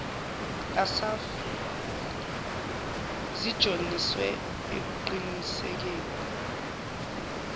assaf zinjongiswe ekuqinisekeni